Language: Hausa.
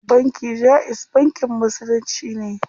Banki jaiz bankin musulunci ne.